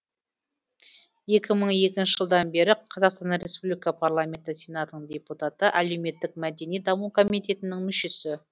екі мың екінші жылдан бері қазақстан республика парламенті сенатының депутаты әлеуметтік мәдени даму комитетінің мүшесі